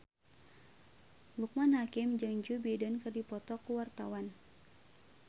Loekman Hakim jeung Joe Biden keur dipoto ku wartawan